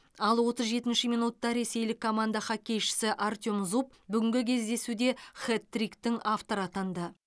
ал отыз жетінші минутта ресейлік команда хоккейшісі артем зуб бүгінгі кездесуде хет триктің авторы атанды